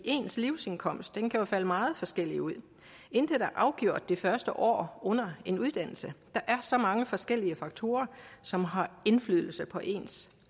ens livsindkomst kan jo falde meget forskelligt ud intet er afgjort det første år under en uddannelse der er så mange forskellige faktorer som har indflydelse på ens